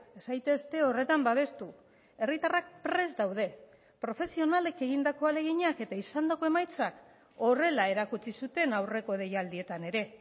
ez zaitezte horretan babestu herritarrak prest daude profesionalek egindako ahaleginak eta izandako emaitzak horrela erakutsi zuten aurreko deialdietan ere